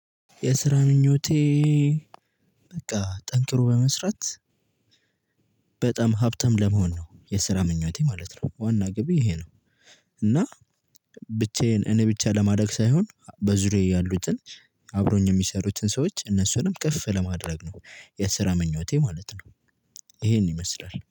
የስራ ምኞቴ በቃ ጠንክሮ በመስራት በጣም ሀብታም ለመሆን ነው። የስራ ምኞቴ ማለት ነው ዋና ግቤ ይሄ ነው። እና ብቻዬን እኔ ብቻ ለማደግ ሳይሆን በዙሪያዬ ያሉትን አብሮኝ የሚሰሩትን ሰዎች እነሱንም ከፍ ለማድረግ ነው። የስራ ምኞቴ ማለት ነው። ይሄን ይመስላል